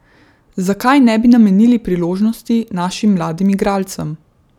Zakaj ne bi namenili priložnosti našim mladim igralcem?